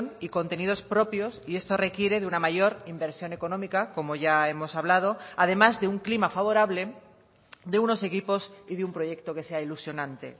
y contenidos propios y esto requiere de una mayor inversión económica como ya hemos hablado además de un clima favorable de unos equipos y de un proyecto que sea ilusionante